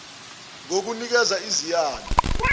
rsa ngokunikeza iziyalo